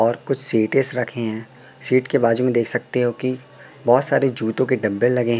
और कुछ सीट्स रखे हैं सीट के बाजू में देख सकते हो की बहोत सारे जूते के डब्बे लगे--